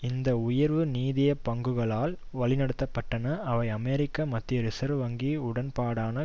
இந்த உயர்வு நிதிய பங்குகளால் வழிநடத்தப்பட்டன அவை அமெரிக்க மத்திய ரிசேர்வ் வங்கி உடன்பாடான